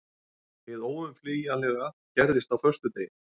Hið óumflýjanlega gerðist á föstudegi.